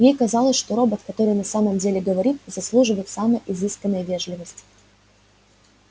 ей казалось что робот который на самом деле говорит заслуживает самой изысканной вежливости